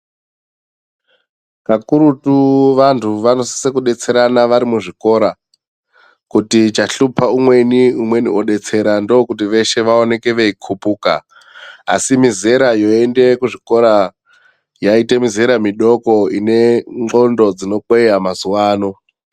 Kakurutu vantu vanosise kudetserana vari muzvikora kuti chashupa umweni umweni odetsera ndokuti veshe vaoneke veikupuka asi mizera yoende kuzvikora yaite mizera midoko ine ndxondo dzinokweya mazuvano.